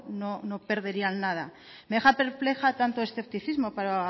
no perderían nada me deja perpleja tanto escepticismo para